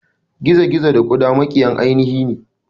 Gizo gizo da kuda makiyan ainihine.